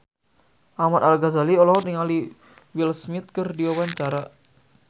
Ahmad Al-Ghazali olohok ningali Will Smith keur diwawancara